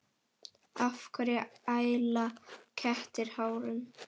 Af hverju æla kettir hárum?